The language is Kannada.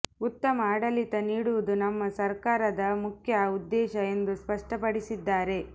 ಉತ್ತಮ ಆಡಳಿತ ನೀಡುವುದು ನಮ್ಮ ಸರ್ಕಾರದ ಮುಖ್ಯ ಉದ್ದೇಶ ಎಂದು ಸ್ಪಷ್ಟಪಡಿಸಿದ್ದಾರೆ